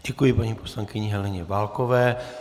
Děkuji paní poslankyni Heleně Válkové.